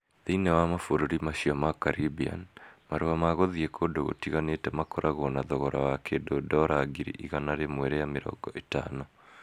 Thĩinĩ wa mabũrũri macio ma Caribbean, marua ma gũthiĩ kũndũ gũtiganĩte makoragwo na thogora wa kĩndũ ndora ngiri igana rĩmwe rĩa mĩrongo ĩtano.